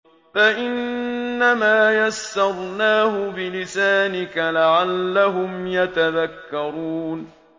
فَإِنَّمَا يَسَّرْنَاهُ بِلِسَانِكَ لَعَلَّهُمْ يَتَذَكَّرُونَ